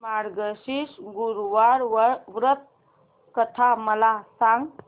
मार्गशीर्ष गुरुवार व्रत कथा मला सांग